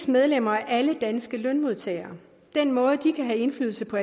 medlemmer alle er danske lønmodtagere den måde hvorpå de kan have indflydelse på